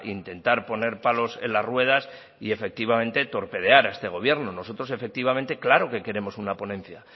intentar poner palos en las ruedas y efectivamente torpedear a este gobierno nosotros efectivamente claro que queremos una ponencia